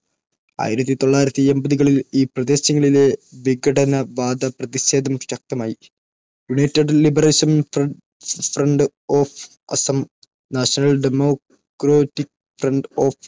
ആയിരത്തി തൊള്ളായിരത്തി എൻപതുകളിൽ ഈ പ്രദേശങ്ങളിലെ വിഘടനവാദ പ്രതിഷേധം ശക്തമായി United Liberation Front of Assam, National Democratic Front of